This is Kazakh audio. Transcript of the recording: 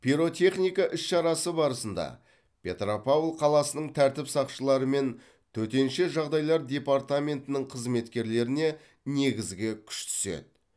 пиротехника іс шарасы барысында петропавл қаласының тәртіп сақшылары мен төтенше жағдайлар департаментінің қызметкерлеріне негізгі күш түседі